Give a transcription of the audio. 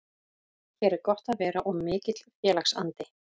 Hér er gott að vera og mikill félagsandi.